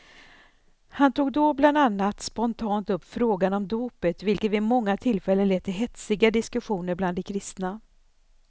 Han tog då bland annat spontant upp frågan om dopet, vilket vid många tillfällen lett till hetsiga diskussioner bland de kristna.